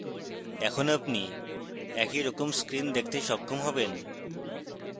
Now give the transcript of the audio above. এখন আপনি এইরকম screen দেখতে সক্ষম হবেন